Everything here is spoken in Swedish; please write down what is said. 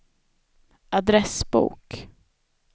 adressbok